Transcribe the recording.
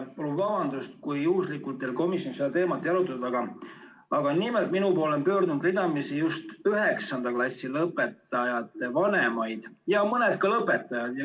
Palun vabandust, kui juhuslikult komisjon seda teemat ei arutanud, aga minu poole on pöördunud ridamisi just 9. klassi lõpetajate vanemaid ja ka mõni lõpetaja.